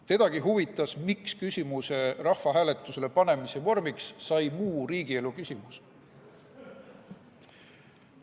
Tedagi huvitas, miks küsimuse rahvahääletusele panemise vormiks sai muu riigielu küsimus.